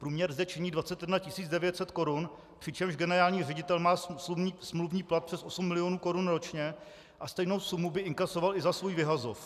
Průměr zde činí 21 900 korun, přičemž generální ředitel má smluvní plat přes 8 milionů korun ročně a stejnou sumu by inkasoval i za svůj vyhazov.